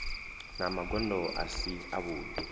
na magondo a si avhudi